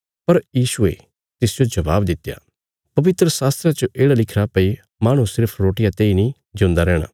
पर यीशुये तिसजो जवाब दित्या पवित्रशास्त्रा च येढ़ा लिखिरा भई माहणु सिर्फ रोटिया तेई नीं जिऊंदा रैहणा